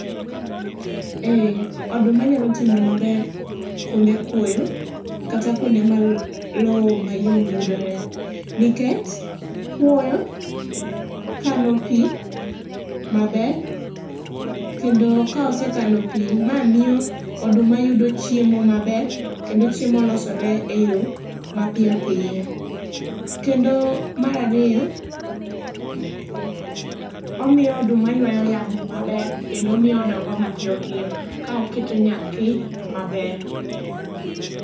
Ee oduma nya timo maber kuonde kuoyo kata kuonde ma loo mayom yudore nikech kuoyo kano pi maber, kendo ka osekano pi ma miyo oduma yudo chiemo maber kendo chiemo losore e yoo mapiyo piyo. Kendo mar ariyo, omiyo oduma ywayo yamo maber kendo miyo odongo mapiyo piyo ka oketo nyathi maber.